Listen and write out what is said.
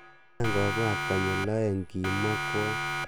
"Kiayan komabwat konyil o'eng,"kimwa kwony.